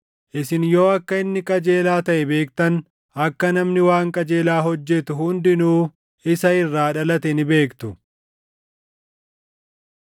Isin yoo akka inni qajeelaa taʼe beektan, akka namni waan qajeelaa hojjetu hundinuu isa irraa dhalate ni beektu.